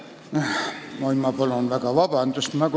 Ma palun väga vabandust!